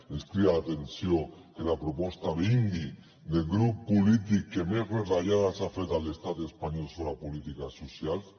ens crida l’atenció que la proposta vingui del grup polític que més retallades ha fet a l’estat espanyol sobre polítiques socials